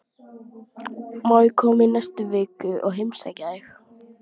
Má ég koma í næstu viku og heimsækja þig?